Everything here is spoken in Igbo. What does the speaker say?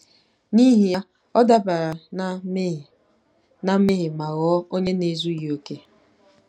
N’ihi ya, ọ dabara ná mmehie ná mmehie ma ghọọ onye na-ezughị okè.